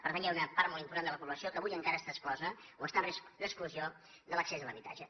per tant hi ha una part molt important de la població que avui encara està exclosa o està en risc d’exclusió de l’accés a l’habitatge